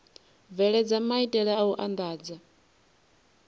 bveledza maitele a u andadza